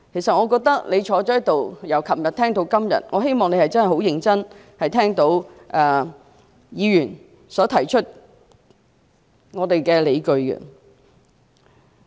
司長，你坐在這裏，由昨天聽到今天，希望你可以認真聆聽議員提出的理據。